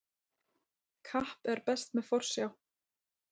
Kapp er best með forsjá.